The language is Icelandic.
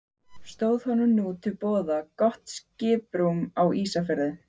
Stóð honum nú til boða gott skiprúm á Ísafirði.